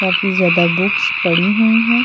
काफी ज्यादा बुक्स पड़ी हुई हैं।